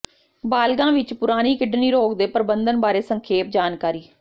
ਬਾਲਗ਼ਾਂ ਵਿਚ ਪੁਰਾਣੀ ਕਿਡਨੀ ਰੋਗ ਦੇ ਪ੍ਰਬੰਧਨ ਬਾਰੇ ਸੰਖੇਪ ਜਾਣਕਾਰੀ